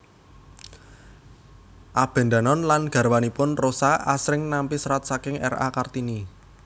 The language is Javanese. Abendanon lan garwanipun Rosa asring nampi serat saking R A Kartini